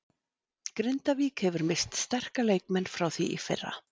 Grindavík hefur misst sterka leikmenn frá því í fyrra.